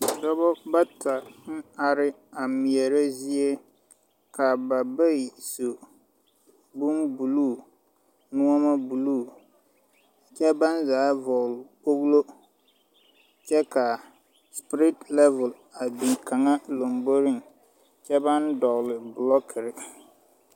Dɔba bata ang arẽ a meɛre zeɛ ka ba bayi su bun blue noma blue kye bang zaa vɔgli kpoglo kye ka spirit level a bin kanga lɔmboring kye bang dɔgli blokiri.